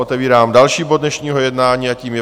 Otevírám další bod dnešního jednání a tím je